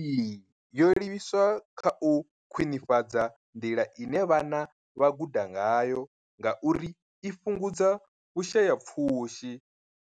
Iyi yo livhiswa kha u khwinifhadza nḓila ine vhana vha guda ngayo ngauri i fhungudza Vhusha ya pfushi